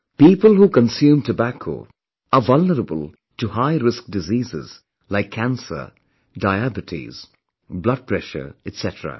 People who consume tobacco are vulnerable to high risk diseases like cancer, diabetes, blood pressure etc